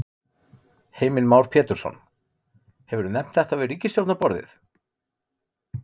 Heimir Már Pétursson: Hefurðu nefnt þetta við ríkisstjórnarborðið?